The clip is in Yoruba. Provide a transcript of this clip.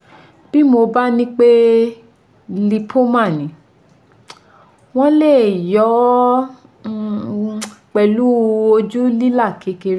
Bí wọ́n bá ní pé lipoma ni, wọ́n lè yọ ọ́ pẹ̀lú ojú lílà kékeré